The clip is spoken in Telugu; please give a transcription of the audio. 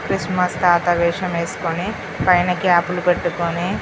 క్రిస్మస్ తాత వేశం వెస్కొని పైన క్యాపులు పెట్టుకొని --